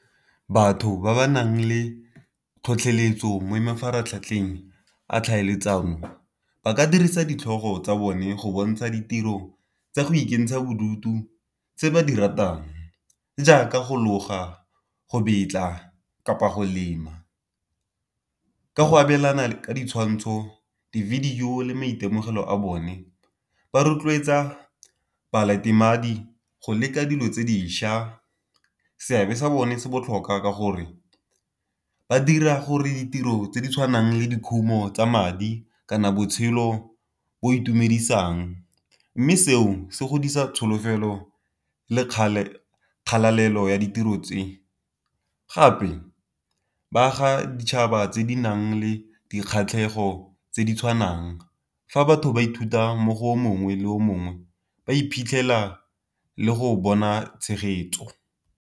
Batho ba ba nang le tlhotlheletso mo mafaratlhatlheng a tlhaeletsano ba ka dirisa ditlhogo tsa bone go bontsha ditiro tsa go ikentsha bodutu tse ba di ratang, jaaka go loga, go betla kapa go lema. Ka go abelana ka ditshwantsho di-video le maitemogelo a bone ba rotloetsa go leka dilo tse dišwa. Seabe sa bone se botlhokwa ka gore ba dira gore ditiro tse di tshwanang le dikhumo tsa madi kana botshelo bo itumedisang, mme seo se godisa tsholofelo le kgalalelo ya ditiro tse. Gape ba aga ditšhaba tse di nang le dikgatlhego tse di tshwanang fa batho ba ithuta mo go mongwe le o mongwe ba iphitlhela le go bona tshegetso.